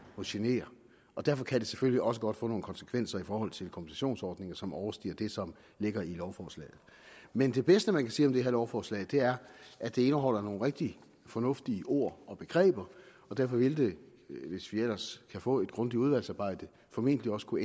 må genere og derfor kan det selvfølgelig også godt få nogle konsekvenser i forhold til kompensationsordninger som overstiger det som ligger i lovforslaget men det bedste man kan sige om det her lovforslag er at det indeholder nogle rigtig fornuftige ord og begreber og derfor vil det hvis vi ellers kan få et grundigt udvalgsarbejde formentlig også kunne